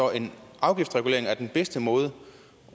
er den bedste måde